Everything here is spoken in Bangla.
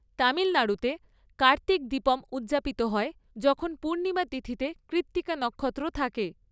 তামিলনাড়ুতে কার্তিক দীপম উদযাপিত হয় যখন পূর্ণিমা তিথিতে কৃত্তিকা নক্ষত্র থাকে।